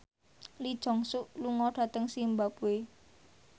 Lee Jeong Suk lunga dhateng zimbabwe